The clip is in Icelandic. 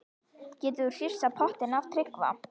Getur þú hrifsað pottinn af Tryggva?